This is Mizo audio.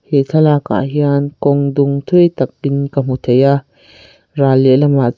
he thlalakah hian kawng dung thui tak pin ka hmu thei a ral lehlamah--